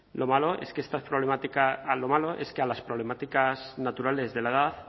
lo malo es que a las problemáticas naturales de la edad